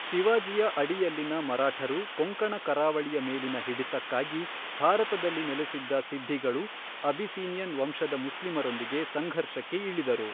ಶಿವಾಜಿಯ ಅಡಿಯಲ್ಲಿನ ಮರಾಠರು ಕೊಂಕಣ ಕರಾವಳಿಯ ಮೇಲಿನ ಹಿಡಿತಕ್ಕಾಗಿ, ಭಾರತದಲ್ಲಿ ನೆಲೆಸಿದ್ದ ಸಿದ್ಧಿಗಳು, ಅಬಿಸಿನಿಯನ್ ವಂಶದ ಮುಸ್ಲಿಮರೊಂದಿಗೆ ಸಂಘರ್ಷಕ್ಕೆ ಇಳಿದರು.